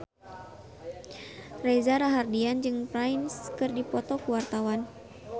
Reza Rahardian jeung Prince keur dipoto ku wartawan